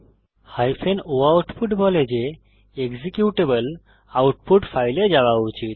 o output বলে যে executable output ফাইলে যাওয়া উচিত